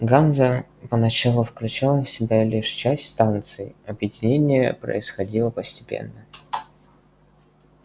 ганза поначалу включал в себя лишь часть станций объединение происходило постепенно